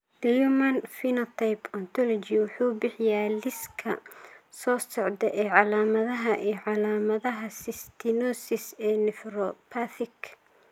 The Human Phenotype Ontology wuxuu bixiyaa liiska soo socda ee calaamadaha iyo calaamadaha cystinosis ee nephropathic.